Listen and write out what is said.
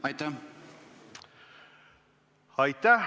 Aitäh!